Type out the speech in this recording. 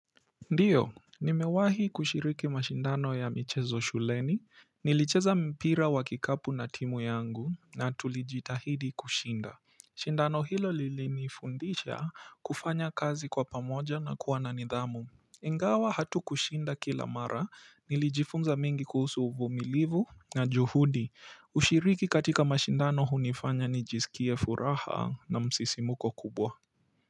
Ndio, nimewahi kushiriki mashindano ya michezo shuleni, nilicheza mpira wa kikapu na timu yangu, na tulijitahidi kushinda. Shindano hilo lili nifundisha kufanya kazi kwa pamoja na kuwa na nidhamu. Ingawa hatukushinda kila mara, nilijifunza mengi kuhusu uvumilivu na juhudi, ushiriki katika mashindano hunifanya nijisikie furaha na msisimuko kubwa kwa hiyo.